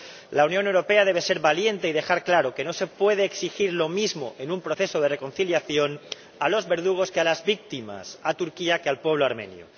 La Unión Europea debe ser valiente y dejar claro que no se puede exigir lo mismo, en un proceso de reconciliación, a los verdugos que a las víctimas, a Turquía que al pueblo armenio.